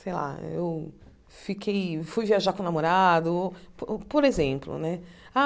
Sei lá, eu fiquei fui viajar com o namorado ou, por por exemplo né.